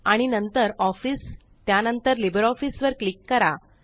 आणि नंतर ऑफिस त्यानंतरLibreOffice वर क्लिक करा